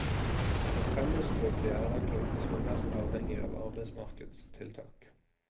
Fremmedspråklige er den gruppen som er mest avhengig av arbeidsmarkedstiltak.